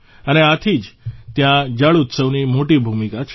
અને આથી ત્યાં જળ ઉત્સવની મોટી ભૂમિકા છે